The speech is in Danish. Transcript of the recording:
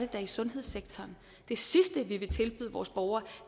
da i sundhedssektoren det sidste vi vil tilbyde vores borgere